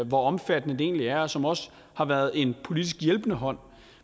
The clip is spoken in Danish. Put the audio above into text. hvor omfattende det egentlig er og som også har været en politisk hjælpende hånd